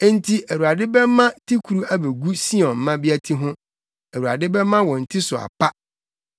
Enti Awurade bɛma tikuru abegu Sion mmea ti ho. Awurade bɛma wɔn ti so apa.”